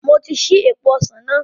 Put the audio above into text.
Mo ti ṣí èèpo ọsàn náà